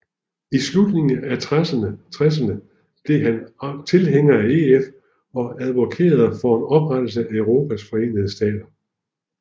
I slutningen af tresserne blev han tilhænger af EF og advokerede for oprettelsen af Europas Forenede Stater